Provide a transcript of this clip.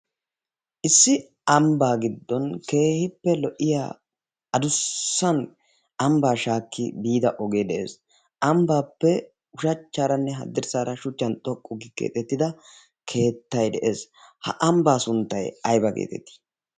issi ambbaa giddon keehippe lo77iya adussan ambbaa shaakki biida ogee de7ees. ambbaappe ushachchaaranne haddirssaara shuchchan xoqqu gi keexettida keettai de7ees. ha ambbaa sunttai aiba geetettii?